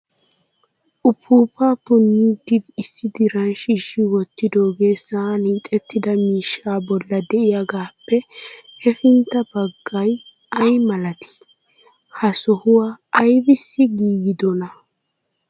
Upuupa punidi issi diran shiishshi wottidooga sa'an hiixettida miishsha bolla de'iyaagappe hefintta naggay ay malatii? Ha sohuwa aybbissi giigidoona ?